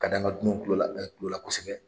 Ka d'an ka dunanw tulo la kosɛbɛ.